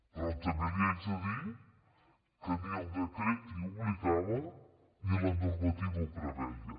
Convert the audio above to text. però també li haig de dir que ni el decret hi obligava ni la normativa ho preveia